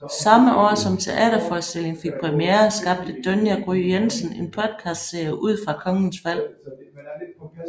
Samme år som teaterforstillingen fik premiere skabte Dunja Gry Jensen en podcastserie ud fra Kongens Fald